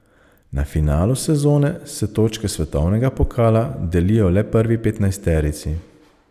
Na finalu sezone se točke svetovnega pokala delijo le prvi petnajsterici.